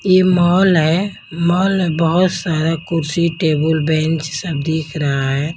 ये मॉल है मॉल में बहुत सारा कुर्सी टेबल बेंच सब दिख रहा है।